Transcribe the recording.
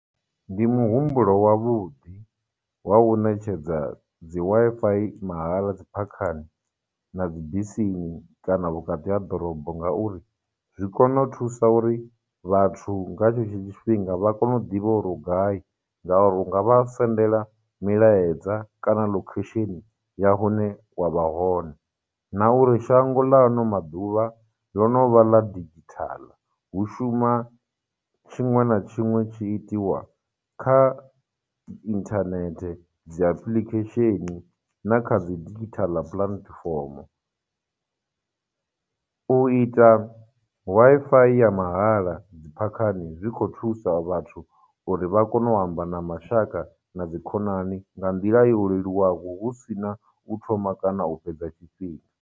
Ndi muhumbulo wavhuḓi wa u ṋetshedza dzi Wi-Fi mahala dzi phakhani, na dzibisini, kana vhukati ha ḓorobo ngauri, zwi kone u thusa uri vhathu nga tshe tsho tshifhinga vha kone u ḓivha uri u gai, ngauri u nga vha sendela milaedza kana location ya hune wa vha hone, na uri shango ḽa ano maḓuvha, ḽo no vha ḽa digital, hu shuma tshiṅwe na tshiṅwe tshi itiwa kha internet, dzi application, na kha dzi digital platform. U ita Wi-Fi ya mahala dziphakhani zwi khou thusa vhathu uri vha kone u amba na mashaka na dzi khonani nga nḓila yo leluwaho, hu sina u thoma kana u fhedza tshifhinga.